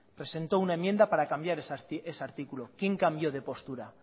presentó una enmienda para cambiar ese artículo quién cambio de postura